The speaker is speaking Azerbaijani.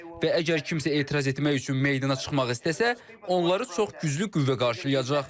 Və əgər kimsə etiraz etmək üçün meydana çıxmaq istəsə, onları çox güclü qüvvə qarşılayacaq.